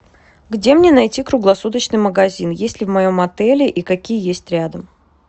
где мне найти круглосуточный магазин есть ли в моем отеле и какие есть рядом